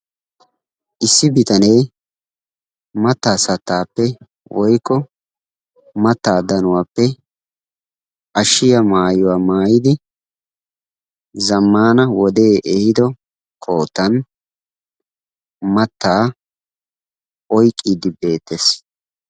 Issi bitanee mattaa sattaappe woykko mattaa danuwappe ashshiya maayuwa maayyidi zammaana wode ehiido koottan mattaas oyqqiide beettees.